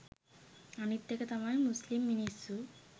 අනිත් එක තමයි මුස්‌ලිම් මිනිස්‌සු